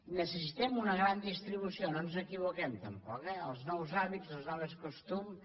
necessitem una gran distribució no ens equivoquem tampoc eh els nous hàbits els nous costums